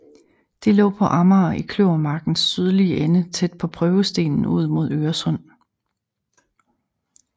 Det lå på Amager i Kløvermarkens sydlige ende tæt på Prøvestenen ud mod Øresund